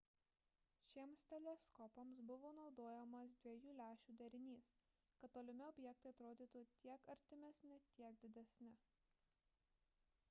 šiems teleskopams buvo naudojamas dviejų lęšių derinys kad tolimi objektai atrodytų tiek artimesni tiek didesni